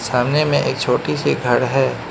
सामने में एक छोटी सी घर है।